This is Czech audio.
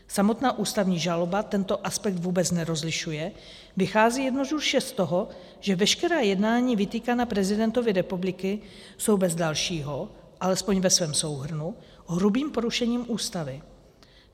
Samotná ústavní žaloba tento aspekt vůbec nerozlišuje, vychází jednoduše z toho, že veškerá jednání vytýkaná prezidentovi republiky jsou bez dalšího, alespoň ve svém souhrnu, hrubým porušením Ústavy.